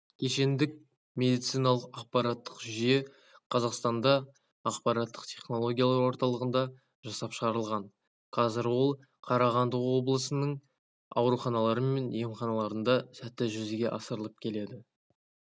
кешендік медициналық ақпараттық жүйе қазақстанда ақпараттық технологиялар орталығында жасап шығарылған қазәр ол қарағанды облысының ауруханалары мен емханаларында сәтті жүзеге асырылып келеді